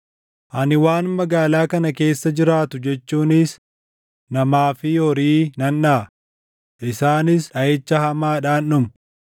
Ani waan magaalaa kana keessa jiraatu jechuunis namaa fi horii nan dhaʼa; isaanis dhaʼicha hamaadhaan dhumu.